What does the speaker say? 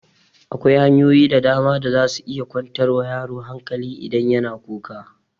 Akwai hanyoyi da dama da za su iya kwantar wa yaro hankali idan ya na kuka